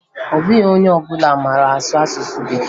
Ọ bụghị onye ọbụla mara asụ asụsụ Bekee